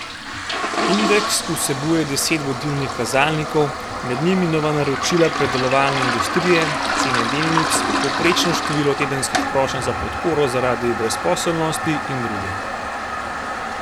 Indeks vsebuje deset vodilnih kazalnikov, med njimi nova naročila predelovalne industrije, cene delnic, povprečno število tedenskih prošenj za podporo zaradi brezposelnosti in druge.